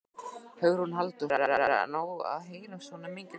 Hugrún Halldórsdóttir: En á að heyrast svona mikið í því?